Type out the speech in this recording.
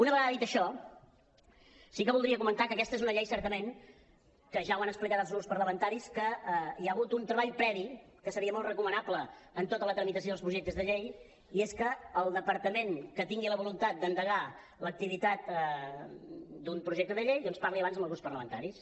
una vegada dit això sí que voldria comentar que aquesta és una llei certament en què ja ho han explicat els grups parlamentaris que hi ha hagut un treball previ que seria molt recomanable en tota la tramitació dels projectes de llei i és que el departament que tingui la voluntat d’endegar l’activitat d’un projecte de llei doncs parli abans amb els grups parlamentaris